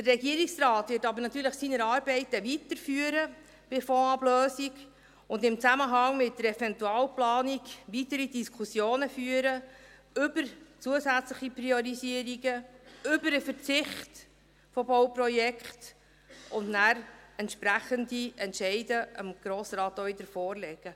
Der Regierungsrat wird aber natürlich seine Arbeiten weiterführen bei der Fondsablösung und in Zusammenhang mit der Eventualplanung weitere Diskussionen führen über zusätzliche Priorisierungen, über den Verzicht auf Bauprojekte und danach dem Grossen Rat entsprechende Entscheide auch wieder vorlegen.